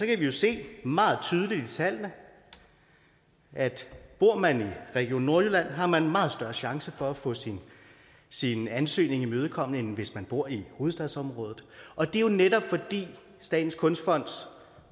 jo se meget tydeligt i tallene at bor man region nordjylland har man meget større chance for at få sin sin ansøgning imødekommet end hvis man bor i hovedstadsområdet og det er jo netop fordi statens kunstfonds